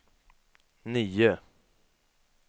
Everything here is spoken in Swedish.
nio